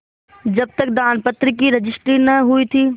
जब तक दानपत्र की रजिस्ट्री न हुई थी